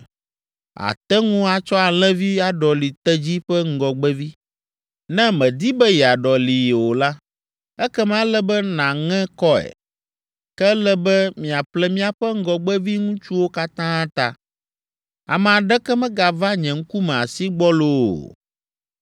Àte ŋu atsɔ alẽvi aɖɔli tedzi ƒe ŋgɔgbevi. Ne mèdi be yeaɖɔlii o la, ekema ele be nàŋe kɔe. Ke ele be miaƒle miaƒe ŋgɔgbevi ŋutsuwo katã ta. Ame aɖeke megava nye ŋkume asi gbɔlo o.